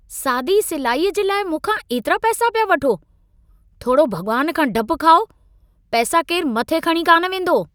सादी सिलाईअ जे लाइ मूंखां एतिरा पैसा पिया वठो! थोरो भगि॒वानु खां डप खायो , पैसा केरु मथे खणी कान वेंदो!